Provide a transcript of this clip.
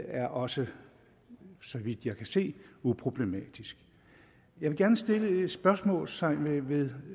er også så vidt jeg kan se uproblematisk jeg vil gerne sætte et spørgsmålstegn ved